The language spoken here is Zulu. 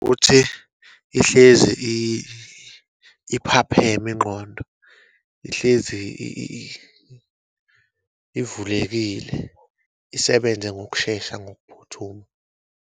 Ukuthi Ihlezi iphapheme ingqondo, ihlezi ivulekile isebenze ngokushesha, ngokuphuthuma.